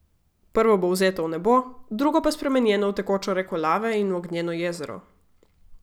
Prvo bo vzeto v nebo, drugo pa spremenjeno v tekočo reko lave in v ognjeno jezero.